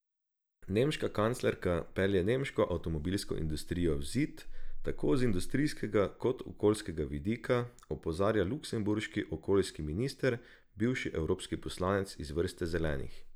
Nemška kanclerka pelje nemško avtomobilsko industrijo v zid, tako z industrijskega kot okoljskega vidika, opozarja luksemburški okoljski minister, bivši evropski poslanec iz vrst Zelenih.